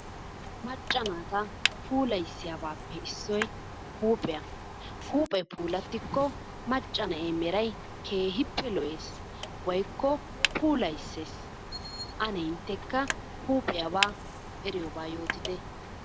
Macca naata puulayissiyabaappe issoy huuphiya. Huuphee puulattikko macca na'ee meray keehippe lo'ees woyikko puulayisses. Ane inttekka huuphiyabaa eriyoobaa yootite.